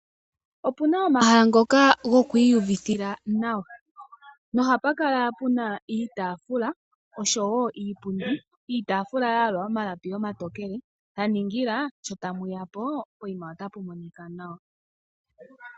Opuna omahala ngoka goku iyuvitha nawa nohapukala puna iitafula oshowo iipundi, iitaafula ya yalwa omalapi omatokele ya ningila sho aantu tayeyapo otapu monika nawa.